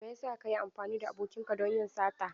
Mai yasa ka yi amfani da abokinka don yin sata?